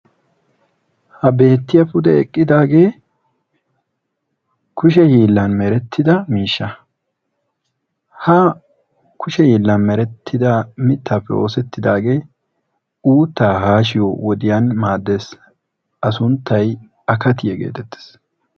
ha beettiya pude eqqidaagee kushe hiillan meettida miishsha. ha kushe meretida miittappe oosetidaagee uutta hashiyo wode maaddees. a sunttay akatiya getettees.